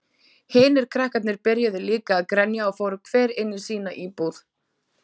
Hinir krakkarnir byrjuðu líka að grenja og fóru hver inní sína íbúð.